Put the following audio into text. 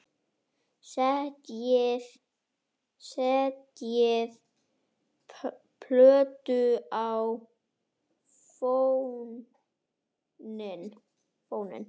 Setjið plötu á fóninn.